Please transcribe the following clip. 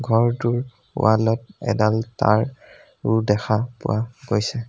ঘৰটোৰ ৱালত এডাল তাঁৰ ও দেখা পোৱা গৈছে।